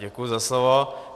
Děkuji za slovo.